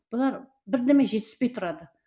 бұлар бірдеме жетіспей тұрады